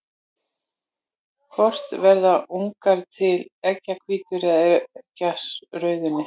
Hvort verða ungar til í eggjahvítunni eða eggjarauðunni?